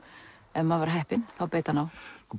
ef maður var heppin þá beit hann á